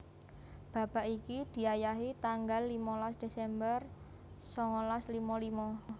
Babak iki diayahi tanggal limolas Desember songolas limo limo